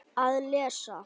Að lesa?